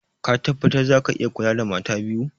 Ka tabbatar za ka iya kula da mata biyu?